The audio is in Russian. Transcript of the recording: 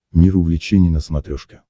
мир увлечений на смотрешке